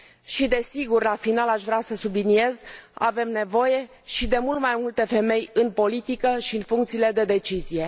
Și, desigur, la final aș vrea să subliniez avem nevoie de mult mai multe femei în politică și în funcțiile de decizie.